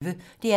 DR P1